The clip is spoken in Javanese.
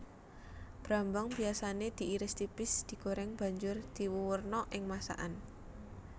Brambang biyasané diiris tipis digoreng banjur diwuwurna ing masakan